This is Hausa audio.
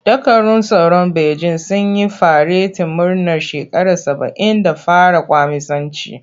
Dakarun tsaron Bejin sun yi faretin murnar shekara saba'in da fara kwaminisanci.